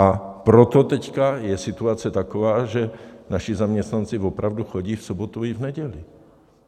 A proto teď je situace taková, že naši zaměstnanci opravdu chodí v sobotu i v neděli.